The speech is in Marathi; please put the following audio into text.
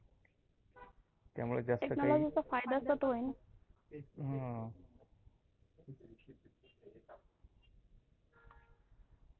त्यामुळ जास्त काही अं